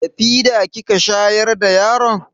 Da fida kika shayar da yaron?